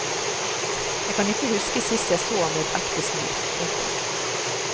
Jeg kan ikke huske sist jeg så ham med et ekte smil. punktum